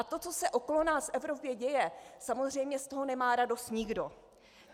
A to, co se okolo nás v Evropě děje, samozřejmě z toho nemá radost nikdo.